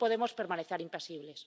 No podemos permanecer impasibles.